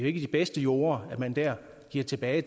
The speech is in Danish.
ikke de bedste jorder man der giver tilbage